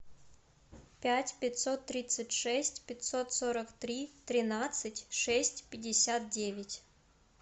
пять пятьсот тридцать шесть пятьсот сорок три тринадцать шесть пятьдесят девять